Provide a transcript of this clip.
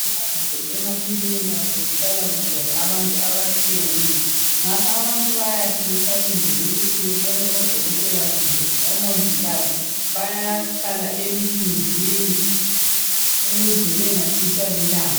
Esibhedlela kumbe emakilinika kuhlala kugcwele abantu abatshiyeneyo ngakho abantu bayathi besalindele ukuthi bebone odokotela kumbe omongikazi bayahlala emthunzini ukuze bengatshiswa lilanga.